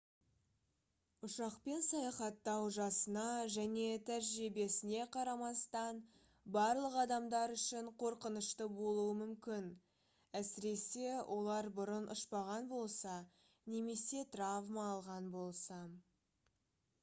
ұшақпен саяхаттау жасына және тәжірибесіне қарамастан барлық адамдар үшін қорқынышты болуы мүмкін әсіресе олар бұрын ұшпаған болса немесе травма алған болса